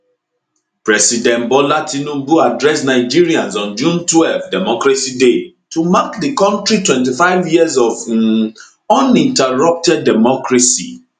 president bola tinubu address nigerians on june twelve democracy day to mark di kontri 25 years of um uninterrupted democracy